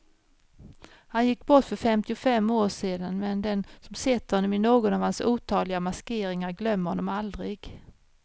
Han gick bort för fyrtiofem år sedan, men den som sett honom i någon av hans otaliga maskeringar glömmer honom aldrig.